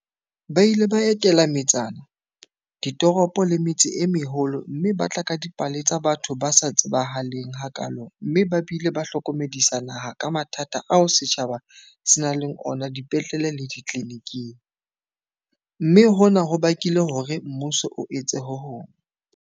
Ba ile ba etela metsana, ditoropo le metse e meholo mme ba tla ka dipale tsa batho ba sa tsebahaleng hakaalo mme ba bile ba hlokomedisa naha ka mathata ao setjhaba se nang le ona dipetlele le ditleliniking, mme hona ho bakile hore mmuso o etse ho hong.